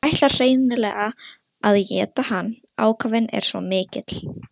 Hvernig klófestir kona karlmann með klækjum?